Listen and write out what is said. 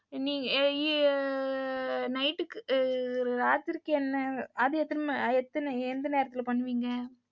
யா ஆ night க்கு ராத்திரிக்கு என்ன அது எத்தன எத்தன எந்த நேரத்துல பண்ணுவீங்க?